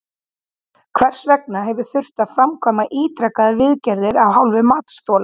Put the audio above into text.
Hvers vegna hefur þurft að framkvæma ítrekaðar viðgerðir af hálfu matsþola?